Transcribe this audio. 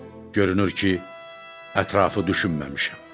Görünür ki, ətrafı düşünməmişəm.